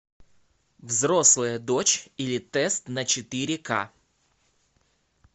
взрослая дочь или тест на четыре ка